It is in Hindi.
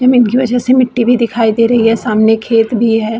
जमीन की वजह से मिट्टी भी दिखाई दे रही है सामने खेत भी है ।